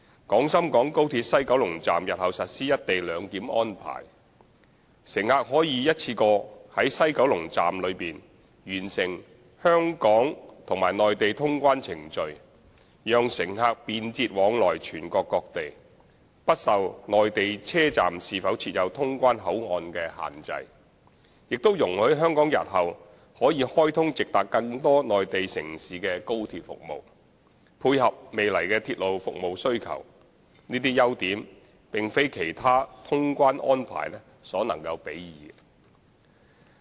廣深港高鐵西九龍站日後實施"一地兩檢"安排，乘客可以一次過在西九龍站內完成香港和內地通關程序，讓乘客便捷往來全國各地，不受內地車站是否設有通關口岸所限制，也容許香港日後可開通直達更多內地城市的高鐵服務，配合未來的鐵路服務需求，這些優點並非其他通關安排所能比擬。